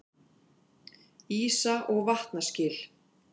Ísa- og vatnaskil.